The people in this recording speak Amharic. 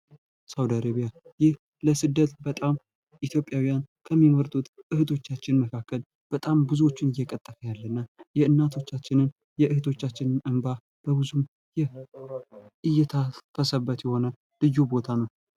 ሳውዲ አረብያ ይህ ለስደት በጣም ኢትዮጵያዉያን ከሚመርጡት እህቶቻችን መካከል በጣም ብዙዎቹን እየቀጠፈ ያለ እና የእናቶቻችንን የእህቶቻችንን እንባ በብዙ እየታፈሰበት የሆነ ልዩ ቦታ ነው::